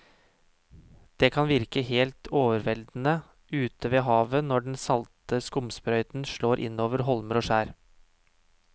Det kan virke helt overveldende ute ved havet når den salte skumsprøyten slår innover holmer og skjær.